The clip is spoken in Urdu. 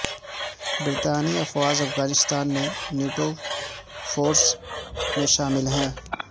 برطانوی افواج افغانستان میں نیٹو فورسز میں شامل ہیں